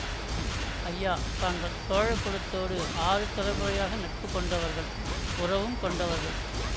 ஐயா தாங்கள் சோழக் குலத்தோடு ஆறு தலைமுறையாக நட்பு கொண்டவர்கள் உறவும் கொண்டவர்கள்